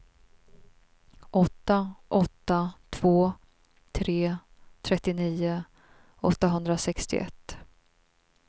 åtta åtta två tre trettionio åttahundrasextioett